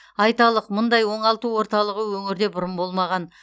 айталық мұндай оңалту орталығы өңірде бұрын болмаған